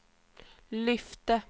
lyfte